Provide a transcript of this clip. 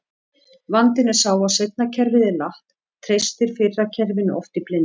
Vandinn er sá að seinna kerfið er latt, treystir fyrra kerfinu oft í blindni.